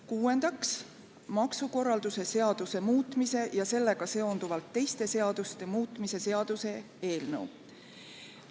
Kuuendaks, maksukorralduse seaduse muutmise ja sellega seonduvalt teiste seaduste muutmise seaduse eelnõu.